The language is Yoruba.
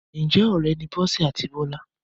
Ǹjẹ́ ọ̀rẹ́ ni Bọ́sẹ̀ àti Bọ́lá?